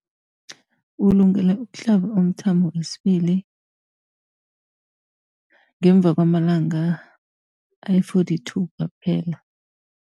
Ulungele ukuhlaba umthamo wesibili ngemva kwama-42 wamalanga kwaphela.